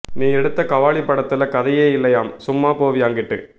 நீ எடுத்த கபாலி படத்துல கதையே இல்லையாம் சும்மா போவியா அங்கிட்டு